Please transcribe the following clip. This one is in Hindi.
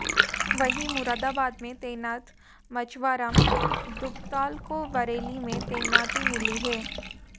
वहीं मुरादाबाद में तैनात मचुवाराम दुगताल को बरेली में तैनाती मिली है